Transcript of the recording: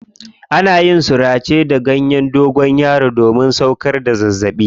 Ana yin surace da ganyen dogonyaro domin sauƙar da zazzaɓi.